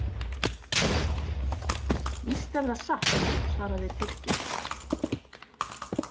Víst er það satt, svaraði Tyrkir.